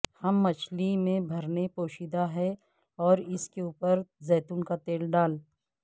ہم مچھلی میں بھرنے پوشیدہ ہے اور اس کے اوپر زیتون کا تیل ڈال